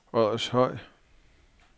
Oddershøj